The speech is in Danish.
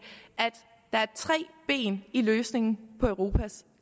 der er tre ben i løsningen af europas